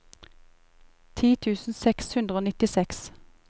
ti tusen seks hundre og nittiseks